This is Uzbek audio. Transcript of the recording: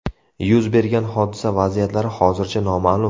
Yuz bergan hodisa vaziyatlari hozircha noma’lum.